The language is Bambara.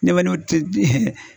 tɛ